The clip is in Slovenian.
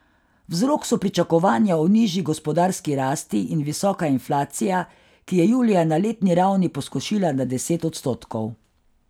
Vzrok so pričakovanja o nižji gospodarski rasti in visoka inflacija, ki je julija ne letni ravni poskočila na deset odstotkov.